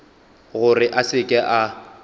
gore a se ke a